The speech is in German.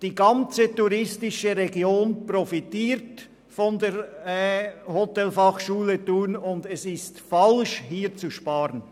Die ganze touristische Region profitiert von der Hotelfachschule Thun, und es ist falsch, hier zu sparen.